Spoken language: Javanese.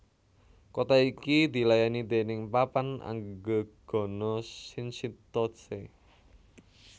Kota iki dilayani déning Papan Anggegana Shinchitose